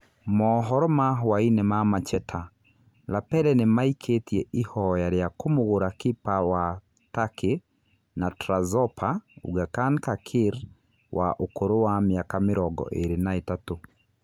( Mohoro ma hũainĩ ma Macheta) Lapele nĩ maĩkĩtie ihoya rĩa kũmũgũra kiba wa Takĩ na Trazopa, Ugakan Kakir wa ũkũrũ wa mĩaka mĩrongo ĩrĩ na ĩtatu.